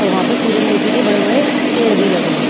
और वहां पेे सूरजमुखी के बड़े बड़े पेड़ भी लगे हैं।